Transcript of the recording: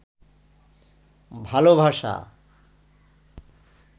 ভালবাসা